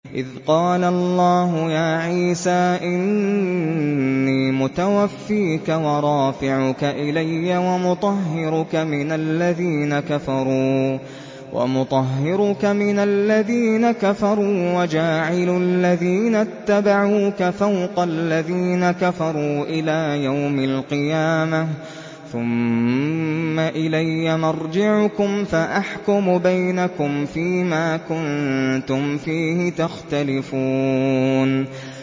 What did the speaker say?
إِذْ قَالَ اللَّهُ يَا عِيسَىٰ إِنِّي مُتَوَفِّيكَ وَرَافِعُكَ إِلَيَّ وَمُطَهِّرُكَ مِنَ الَّذِينَ كَفَرُوا وَجَاعِلُ الَّذِينَ اتَّبَعُوكَ فَوْقَ الَّذِينَ كَفَرُوا إِلَىٰ يَوْمِ الْقِيَامَةِ ۖ ثُمَّ إِلَيَّ مَرْجِعُكُمْ فَأَحْكُمُ بَيْنَكُمْ فِيمَا كُنتُمْ فِيهِ تَخْتَلِفُونَ